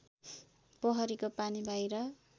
पोखरीको पानी बाहिर